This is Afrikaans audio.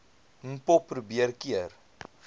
mpho probeer keer